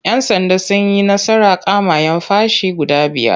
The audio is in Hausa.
Yan'sanda sun yi nasarar kama'yan fashi guda biyar.